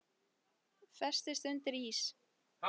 Festist undir ís